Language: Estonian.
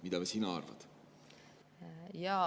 Mida sina arvad?